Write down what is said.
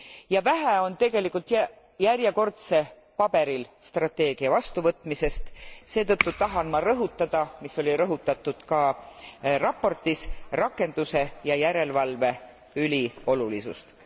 Ja vähe on tegelikult järjekordse paberil strateegia vastuvõtmisest, seetõttu tahan ma rõhutada, mis oli rõhutatud ka raportis, rakenduse ja järelevalve üliolulisust.